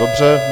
Dobře.